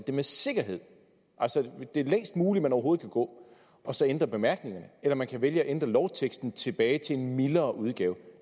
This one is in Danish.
med sikkerhed det længst mulige man overhovedet kan gå og så ændre bemærkningerne eller man kan vælge at ændre lovteksten tilbage til mildere udgave